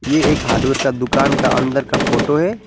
ये एक हार्डवेयर का दुकान का अंदर का फोटो है।